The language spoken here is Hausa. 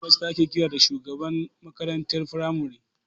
Hedimasta ake kiran shugaban makarantar firamare.